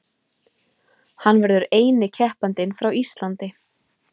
Hann verður eini keppandinn frá Íslandi